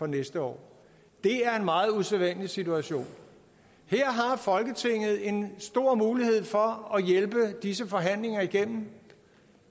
næste år det er en meget usædvanlig situation her har folketinget en stor mulighed for at hjælpe disse forhandlinger igennem